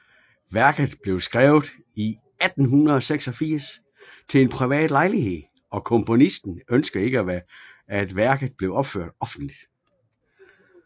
Værket blev skrevet i 1886 til en privat lejlighed og komponisten ønskede ikke at værket blev opført offentligt